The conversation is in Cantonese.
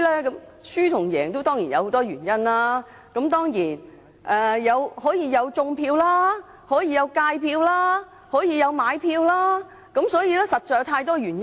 落敗和勝出當然有很多原因，可以是種票、"𠝹 票"、買票，實在有太多原因。